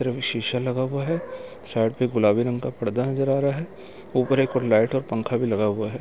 शीशा लगा हुआ है साइड में गुलाबी रंग का पर्दा नजर आ रहा है ऊपर एक लाइट और पंखा भी लगा हुआ है।